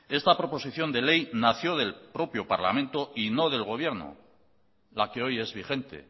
esta proposición de ley nació del propio parlamento y no del gobierno la que hoy es vigente